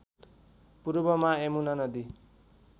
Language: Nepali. पूर्वमा यमुना नदी